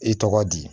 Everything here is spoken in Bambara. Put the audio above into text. I tɔgɔ di